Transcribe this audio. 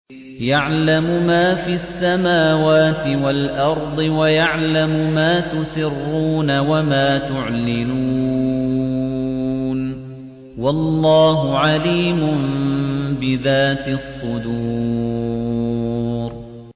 يَعْلَمُ مَا فِي السَّمَاوَاتِ وَالْأَرْضِ وَيَعْلَمُ مَا تُسِرُّونَ وَمَا تُعْلِنُونَ ۚ وَاللَّهُ عَلِيمٌ بِذَاتِ الصُّدُورِ